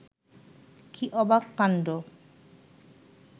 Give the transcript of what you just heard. কী অবাক কাণ্ড